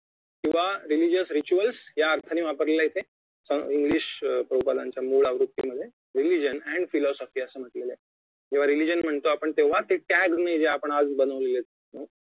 किंवा religion rituals या अर्थाने वापरलेलं आहे इथं अं इंग्लिश प्रभुपदाच्या मूळ आवृत्ती मध्ये रिलिजन अँड फिलॉसॉफी असं म्हटलेलं आहे जेव्हा religion म्हणतो आपण तेव्हा ते टॅग मी जे आज आपण बनवलेले आहेत